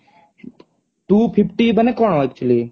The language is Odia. two fifty ମାନେ କଣ actually